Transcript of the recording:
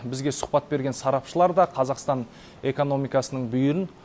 бізге сұхбат берген сарапшылар да қазақстан экономикасының бүйірін